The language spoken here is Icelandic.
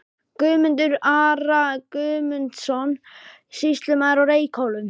Guðmundar, Ara Guðmundsson, sýslumann á Reykhólum.